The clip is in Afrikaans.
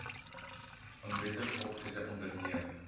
onwettige optrede onderneem